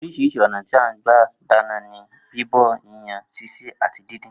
Orís̩irís̩i ò̩nà tí à ń gbà dáná ni bíbò̩, yíyan, sisè àti díndín